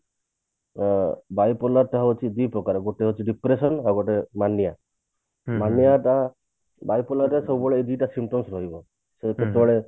ଅ bipolar ଟା ହଉଛି ଦି ପ୍ରକାର ଗୋଟେ ହଉଛି ଗୋଟେ ହଉଛି depression ଆଉ ଗୋଟେ ମାନିଆ ମାନିଆ ଟା bipolar ର ସବୁବେଳେ ଏଇ ଦିଟା symptoms ରହିବ ସେଇଥିରେ ପୁଣି